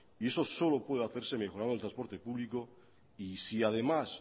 y eso solo puede hacerse mejorando el transporte público y si además